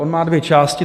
On má dvě části.